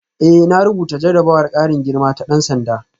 Eh na rubuta jarrabawar karin girma ta dan sanda